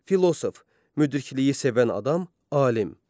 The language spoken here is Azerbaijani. Filosof, müdrikliyi sevən adam, alim.